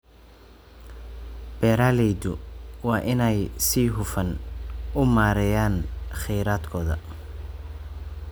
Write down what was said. Beeraleydu waa inay si hufan u maareeyaan kheyraadkooda.